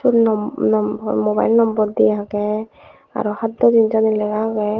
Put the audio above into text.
siyot nom nom mobile nombor de agey aro haddo jinij sani lega agey.